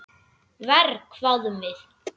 Verr, hváðum við.